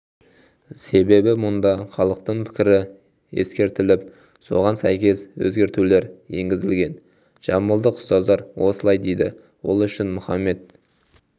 себебі мұнда халықтың пікірі ескеріліп соған сәйкес өзгертулер енгізілген жамбылдық ұстаздар осылай дейді ол үшін мұхаммед